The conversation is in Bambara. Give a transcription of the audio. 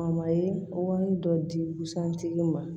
wari dɔ di busan tigi ma